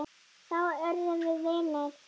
Þá urðum við vinir.